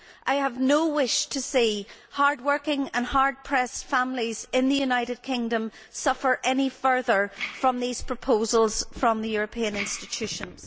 I have no wish to see hard working and hard pressed families in the United Kingdom suffer any further from these proposals from the European institutions.